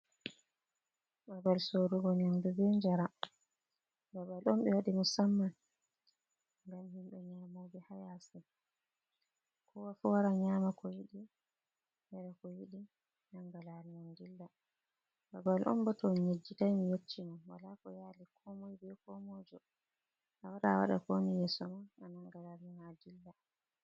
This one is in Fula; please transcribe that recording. Babal sorugo nyamdu be njaram, babal on ɓe waɗi musamman ngam himɓe nyaamoɓe haa yaasi, kowa fu wara nyaama ko yiɗi, yara ko yiɗi nannga laawol mum dilla .Babal on bo ,to on nyejjitay ni, mi yecci mon wala ko yaali komoy be komoyjo .a wara,a waɗa ko woni yeeso ma a nannga laawol ma a dilla.